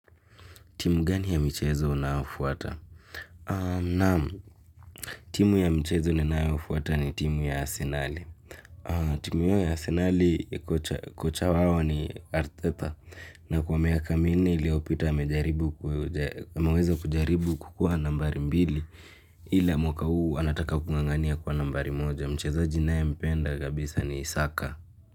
Timu gani ya mchezo unaofuata? Ahh naam. Timu ya mchezo ninayofuata ni timu ya Arsenal. Timu ya Arsenal kocha wao ni Arteta. Na kwa minne iliyopita amejaribu. Ameweza kujaribu kuwa nambari mbili ila mwaka huu anataka kung'ang'ania kuwa nambari moja. Mchezaji ninae mpenda kabisa ni Saka.